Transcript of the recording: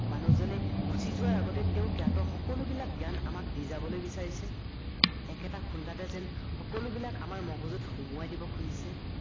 মানুহজনে গুচি যোৱাৰ আগতে তেওঁ জ্ঞাত সকলোবিলাক জ্ঞান আমাক দি যাবলৈ বিচাৰিচে একেটা খুন্দাতে যেন সকলোবিলাক আমাৰ মগজুত সোমোৱাই দিব খুজিছে